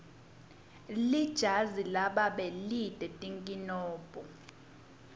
lijazi lababe lite tinkinombo